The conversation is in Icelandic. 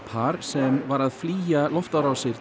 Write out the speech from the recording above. par sem var að flýja loftárásirnar